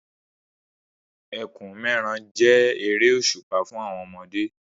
Ẹkùn-mẹ́ran jẹ́ eré òṣùpá fún àwọn ọmọdé.